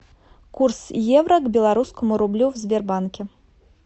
курс евро к белорусскому рублю в сбербанке